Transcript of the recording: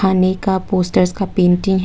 अनेका पोस्टर्स का पेंटिंग है।